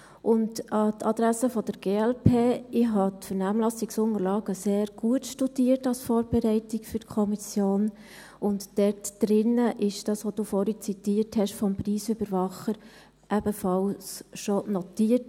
Und an die Adresse der glp: Ich habe die Vernehmlassungsunterlagen als Vorbereitung auf die Kommission sehr gut studiert, und in diesen ist das, was Sie vorhin vom Preisüberwacher zitiert haben, ebenfalls schon notiert.